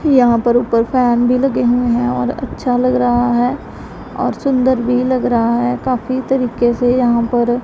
यहां पर ऊपर फैन भी लगे हुए हैं और अच्छा लग रहा है और सुंदर भी लग रहा है काफी तरीके से यहां पर--